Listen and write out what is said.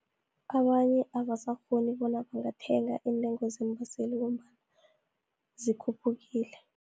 Abanye abasakghoni bona bangathenga iintengo zeembaseli, ngombana zikhuphukile.